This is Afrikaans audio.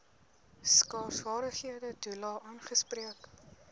skaarsvaardighede toelae aangespreek